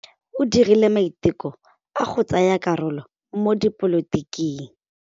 O dirile maitekô a go tsaya karolo mo dipolotiking.